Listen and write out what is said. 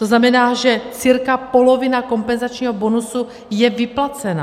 To znamená, že cca polovina kompenzačního bonusu je vyplacena.